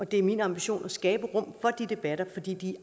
det er min ambition at skabe rum for de debatter fordi de